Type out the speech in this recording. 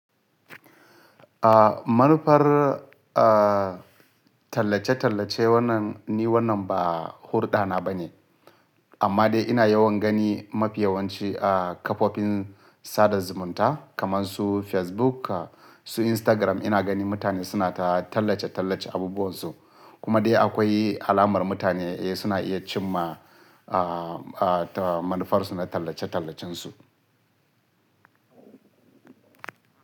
Ah, manufar ah, tallace-tallace wannan ni wannan ba hurɗa na ba ne. Amma dai ina yawan gani mafiyawanci a kafofin sada zumunta kaman su Facebook, su Instagram ina gani mutane suna ta tallace-tallace abubuwan su. Kuma dai akwai alamar mutane eh suna iya cimma ah, ah, manufar su na tallace-tallacen su.